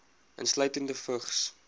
insluitende vigs